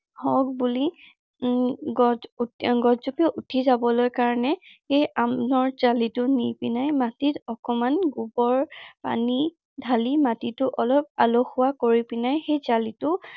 হওক বুলি উম গছ গছজোপা উঠি যাবলৈ কাৰনে সেই আমৰ টো নি পিনে, মাটিত অকনমান গোবৰ পানী ঢালি মাটিতো অলপ কৰি পিনে সেই জালিতো